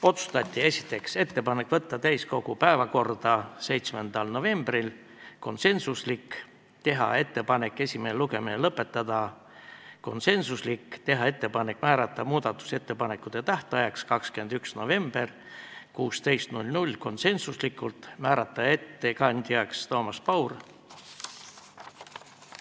Otsused: esiteks, teha ettepanek võtta eelnõu täiskogu päevakorda 7. novembril , teha ettepanek esimene lugemine lõpetada ja määrata muudatusettepanekute tähtajaks 21. november kell 16 , ettekandjaks määrati Toomas Paur.